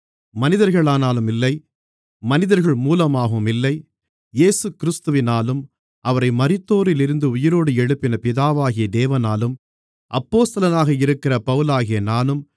மனிதர்களாலும் இல்லை மனிதர்கள் மூலமாகவும் இல்லை இயேசுகிறிஸ்துவினாலும் அவரை மரித்தோரிலிருந்து உயிரோடு எழுப்பின பிதாவாகிய தேவனாலும் அப்போஸ்தலனாக இருக்கிற பவுலாகிய நானும்